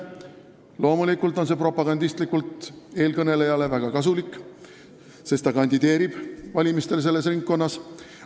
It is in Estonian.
Loomulikult on see eelkõnelejale propagandistlikult väga kasulik, sest ta kandideerib valimistel selles ringkonnas.